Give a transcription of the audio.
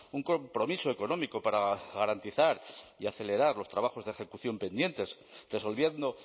un compromiso económico para garantizar y acelerar los trabajos de ejecución pendientes resolviendo